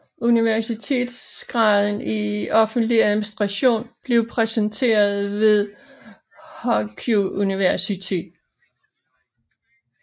Universitetsgraden i offentlig administration blev præsenteret ved Huaqiao University